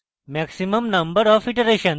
maximum number of iterations এবং